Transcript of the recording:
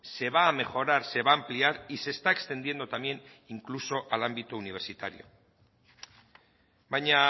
se va a mejorar se va a ampliar y se está extendiendo también incluso al ámbito universitario baina